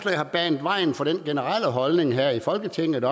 har banet vejen for den generelle holdning her i folketinget